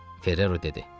Ferrero dedi.